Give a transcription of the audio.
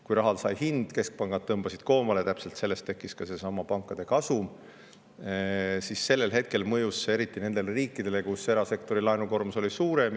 Kui raha sai hinna, keskpangad tõmbasid koomale ja tekkiski seesama pankade kasum, siis mõjus see eriti nendele riikidele, kus erasektori laenukoormus oli suurem.